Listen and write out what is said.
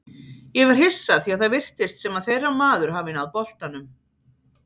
Ég var hissa því að það virtist sem að þeirra maður hafi náð boltanum.